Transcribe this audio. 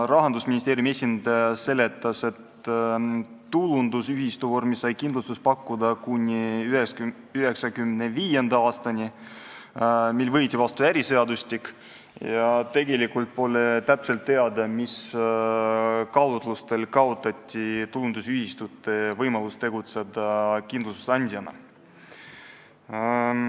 Rahandusministeeriumi esindaja seletas, et tulundusühistu vormis sai kindlustust pakkuda kuni 1995. aastani, mil võeti vastu äriseadustik, ja tegelikult pole täpselt teada, mis kaalutlustel kaotati tulundusühistute võimalus tegutseda kindlustusandjana.